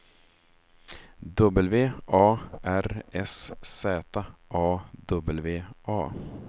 W A R S Z A W A